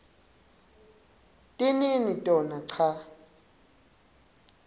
tinini tona cha